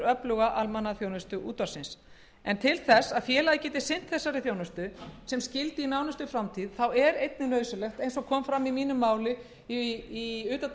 öfluga almannaþjónustu útvarpsins en til þess að félagið geti sinnt þessari þjónustu sem skyldi í nánustu framtíð er einnig nauðsynlegt eins og kom fram í máli mínu í utandagskrárumræðu fyrr í vikunni að